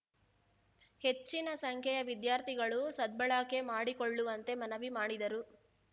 ಹೆಚ್ಚಿನ ಸಂಖ್ಯೆಯ ವಿದ್ಯಾರ್ಥಿಗಳು ಸದ್ಬಳಕೆ ಮಾಡಿಕೊಳ್ಳುವಂತೆ ಮನವಿ ಮಾಡಿದರು